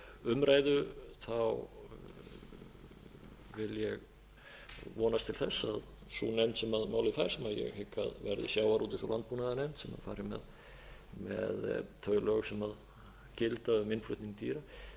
umræðu vil ég vonast til þess að sú nefnd sem málið fær sem ég hygg að verði sjávarútvegs og landbúnaðarnefnd sem fari með þau lög sem gilda um innflutning dýra hún geti